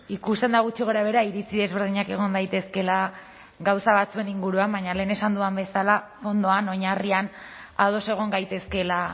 ikusten da gutxi gorabehera iritzi ezberdinak egon daitezkeela gauza batzuen inguruan baina lehen esan dudan bezala hondoan oinarrian ados egon gaitezkeela